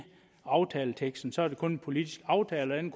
aftaleteksten så er det kun en politisk aftale og den